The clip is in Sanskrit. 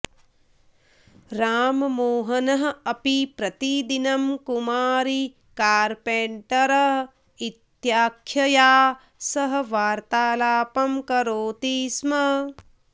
राममोहनः अपि प्रतिदिनं कुमारी कार्पेण्टर् इत्याख्यया सह वार्तालापं करोति स्म